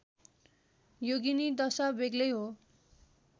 योगिनी दशा बेग्लै हो